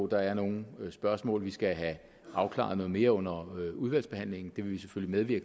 der er nogle spørgsmål vi skal have afklaret noget mere under udvalgsbehandlingen det vil vi selvfølgelig